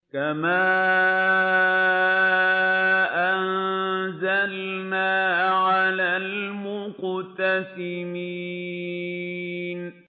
كَمَا أَنزَلْنَا عَلَى الْمُقْتَسِمِينَ